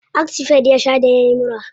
Actifed ya sha da yayi mura.